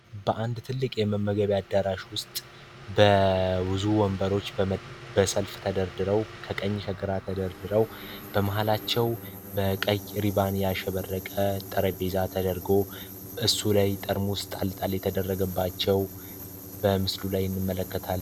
በአንድ ትልቅ የመመገቢያት ዳራሽ ውስጥ በውዙ ወንበሮች በሰልፍ ተደርድረው ከቀኝ ከግራ ተደርድረው በመሃላቸው በቀ ሪባንያ ሸበረቀ ጠረቤዛ ተደርገው እሱ ላይ ጠርሙ ውስጥ አልጣል የተደረግባቸው በምስሉ ላይ ንመለከታል